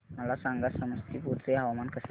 मला सांगा समस्तीपुर चे हवामान कसे आहे